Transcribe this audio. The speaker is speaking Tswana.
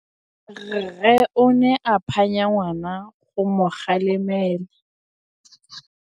Rre o ne a phanya ngwana go mo galemela.